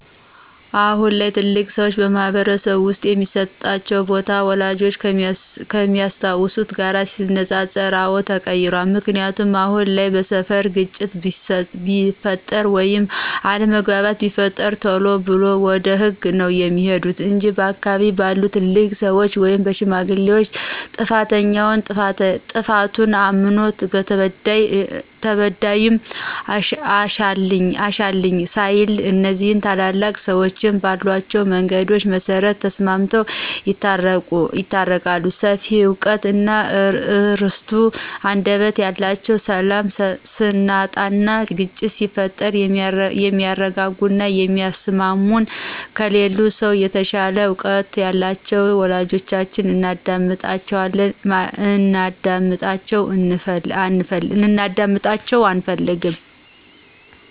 አሁን ላይ ትልልቅ ሰዎች በማህበረስብ ውስጥ የሚስጧቸው ቦታ፣ ወላጆቻችን ከሚያስታውሱት ጋር ሲነፃፀር አወ ተቀይሯል። ምክንያቱ አሁን ላይ በስፈር ግጭት ቢፈጥር ወይም አለምግባባት ቢፈጠር ቴሎ ብለው ወደ ህግ ነው ሚሄዱት እንጅ በአካባቢ ባሉ ትልልቅ ሰዎች ወይም በሽማግሌዎች ጥፋተኛውም ጥፋቱን እምኖ ተበዳይም አሻፈኝ ሳይል እኒዚህ ታላላቅ ሰዎች ባሏቸው መንገድ መሰረት ተስማምተው ይታረቃሉ ሰፊ እውቀት እና እርቱ አንደበት ያላቸውን ሰላም ስናጣና ግጭት ሲፈጠር የሚያርጋጉና የሚያስሟሙን ከሌላው ሰው የተሻለ እውቀት ያላቸውን ወላጆቻችን እንድናጣቸው አንፈልግም።